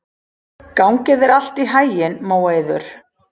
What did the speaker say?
Gangi þér allt í haginn, Móeiður.